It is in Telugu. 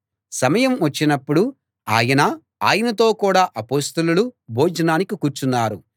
సమయం వచ్చినప్పుడు ఆయనా ఆయనతో కూడా అపొస్తలులూ భోజనానికి కూర్చున్నారు